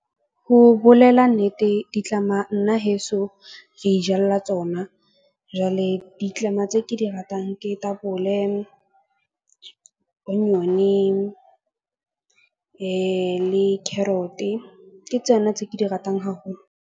Ho bolela nnete ditlama nna heso, re ijalla tsona. Jwale ditlama tse ke di ratang ke tapole, le carrot-e, ke tsona tse ke di ratang haholo.